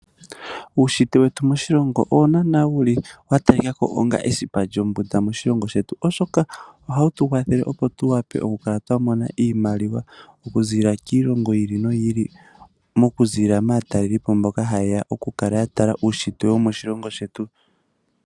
Uushitwe wetu moshilongo owo naana wa talika ko onga esipa lyombunda moshilongo shetu oshoka ohawu tu kwathele opo tu vuke oku mona iimaliwa okuza kiilongo yimwe yi ili noyi ili mokuziilia maatalelipo mboka hayeya oku tala uushitwe womoshilongo shetu.